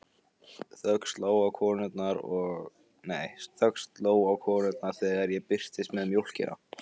Þögn sló á konurnar þegar ég birtist með mjólkina.